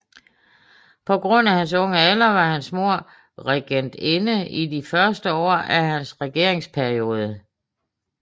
På grund af hans unge alder var hans mor regentinde i de første år af hans regeringsperiode